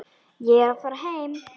Ég er að fara heim.